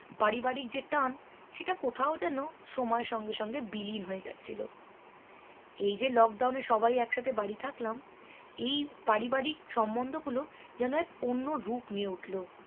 পারিবারিক যে টান সেটা কোথাও যেন সময়ের সঙ্গে সঙ্গে বিলীন হয়ে যাচ্ছিলো এই যে lockdown এ সবাই একসাথে বাড়ি থাকলাম এই পারিবারিক সম্মন্ধ গুলো যেন এক অন্য রূপ নিয়ে উঠলো